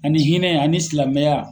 Ani hinɛ ani silamɛya.